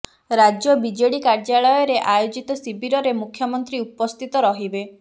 ରାଜ୍ୟ ବିଜେଡି କାର୍ୟ୍ୟାଳୟରେ ଆୟୋଜିତ ଶିବିରରେ ମୁଖ୍ୟମନ୍ତ୍ରୀ ଉପସ୍ଥିତ ରହିବେ